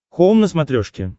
хоум на смотрешке